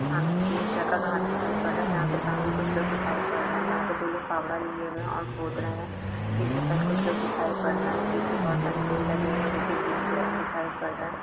सामने green colour का घास दिखाई पड़ रहा है यहाँ पे सामने कुछ लोग दिखाई पड़ रहे है यहाँ पे दो लोग फावड़ा लिये हुए और खोद रहे है पीछे साइड कुछ लोग दिखाई पड़ रहे है पीछे बहोत सारे पेड़ लगे हुए है जो की ग्रीन कलर के दिखाई पड़ रहे है।